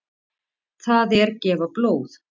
Það er gefa blóð.